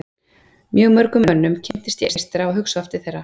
Mjög mörgum mönnum kynntist ég eystra og hugsa oft til þeirra.